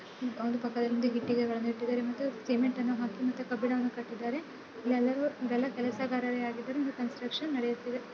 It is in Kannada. ಒಂದು ಪಕ್ಕದಲ್ಲಿ ಇಟ್ಟಿಗೆಗಳನ್ನು ಇಟ್ಟಿದ್ದಾರೆ ಮತ್ತು ಸಿಮೆಂಟನ್ನು ಹಾಕಿ ಮತ್ತು ಕಬ್ಬಿಣವನ್ನ ಕಟ್ಟಿದ್ದಾರೆ. ಎಲ್ಲರು ಎಲ್ಲ ಕೆಲಸಗಾರರಾಗಿದ್ದರೆ ಇಂದು ಕನ್ಸ್ಟ್ರಕ್ಷನ್ ನಡೆಯುತ್ತಿದೆ.